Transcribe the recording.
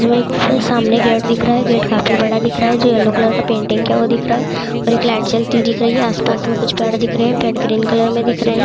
जो एक पे सामने गेट दिख रहा है गेट काफी बड़ा दिख रहा है जो येलो कलर पेंटिंग किया हुआ दिख रहा है और एक लाइट जलती हुए दिख रही है आस-पास में कुछ पेड़ दिख रहे हैं पेड़ ग्रीन कलर में दिख रहे --